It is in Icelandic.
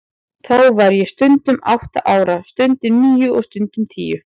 Þá var ég stundum átta ára, stundum níu og stundum tíu.